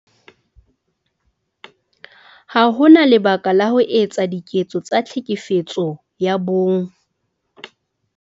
Ha ho na lebaka la ho etsa diketso tsa Tlhekefetso ya Bong.